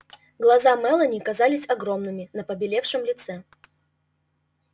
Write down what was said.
глаза мелани казались огромными на побелевшем лице